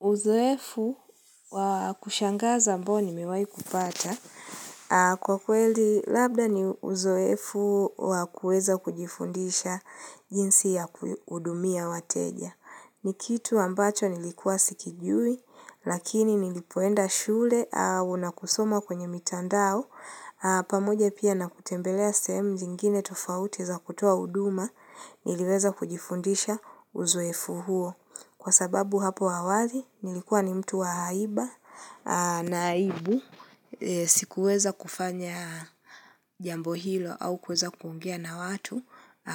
Uzoefu wa kushangaza ambao nimewai kupata. Kwa kweli labda ni uzoefu wa kuweza kujifundisha jinsi ya kuhudumia wateja. Nikitu ambacho nilikuwa sikijui, lakini nilipoenda shule au nakusoma kwenye mitandao, pamoja pia nakutembelea sehemu zingine tofauti za kutoa huduma, niliweza kujifundisha uzoefu huo. Kwa sababu hapo awali nilikuwa ni mtu wa haiba na aibu sikuweza kufanya jambo hilo au kuweza kuongea na watu